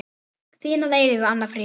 Þín að eilífu, Anna Fríða.